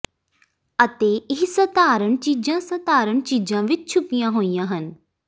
ਅਤੇ ਇਹ ਸਾਧਾਰਣ ਚੀਜ਼ਾਂ ਸਾਧਾਰਣ ਚੀਜ਼ਾਂ ਵਿੱਚ ਛੁਪੀਆਂ ਹੋਈਆਂ ਹਨ